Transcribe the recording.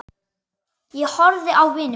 Ég horfði á vini mína.